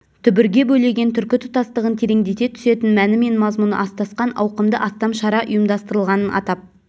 дүбірге бөлеген түркі тұтастығын тереңдете түсетін мәні мен мазмұны астасқан ауқымды астам шара ұйымдастырылғанын атап